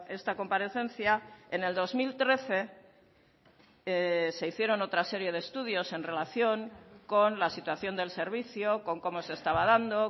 esta comparecencia en el dos mil trece se hicieron otra serie de estudios en relación con la situación del servicio con cómo se estaba dando